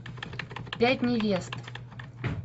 пять невест